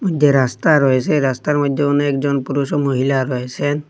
যে রাস্তা রয়েছে সে রাস্তার মইধ্যে অনেকজন পুরুষ ও মহিলা রয়েসেন ।